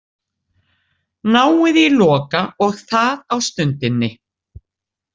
Náið í Loka og það á stundinni.